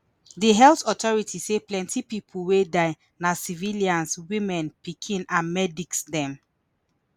di health authority say plenti pipo wey die na civilians women pikin and medics dem